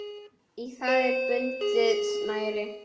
Í það er bundið snæri.